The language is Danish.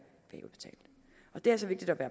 er det altså vigtigt at